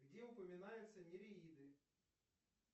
где упоминается нереиды